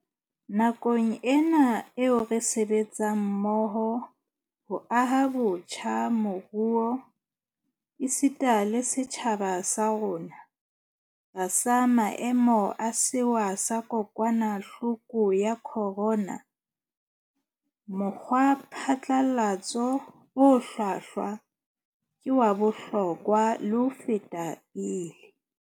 Nakong ena eo re sebetsang mmoho ho aha botjha moruo, esita le setjhaba sa rona, tlasa maemo a sewa sa kokwana hloko ya khorona, mokgwa phatlalatso o hlwahlwa ke wa bohlokwa le ho feta pele.